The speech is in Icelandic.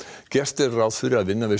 gert er ráð fyrir að vinna við